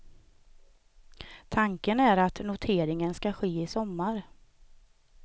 Tanken är att noteringen ska ske i sommar.